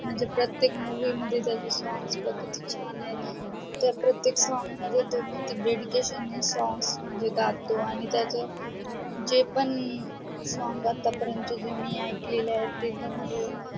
म्हणजे प्रत्येक movie मध्ये त्याचे songs बघ किती छान त्याच्या प्रत्येक song मध्ये त्याचे dedication ने song म्हणजे गातो आणि त्याचे जे पण song आतापर्यंत मी ऐकलेले आहेत ते